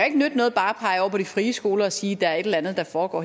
ikke nytte noget bare at på de frie skoler og sige at der er et eller andet der foregår